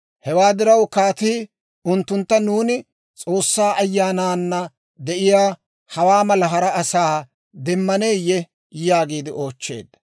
Hewaa diraw kaatii unttuntta, «Nuuni S'oossaa Ayyaanana de'iyaa hawaa mala hara asaa demmaneeyye?» yaagiide oochcheedda.